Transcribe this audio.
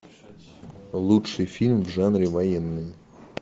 лучший фильм в жанре военные